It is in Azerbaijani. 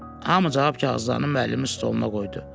Hamı cavab kağızlarını müəllimin stoluna qoydu.